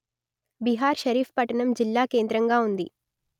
బిహార్ షరీఫ్ పట్టణం జిల్లాకేంద్రంగా ఉంది